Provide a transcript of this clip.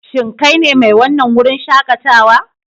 Shin kai ne mai wannan wurin shakatawa?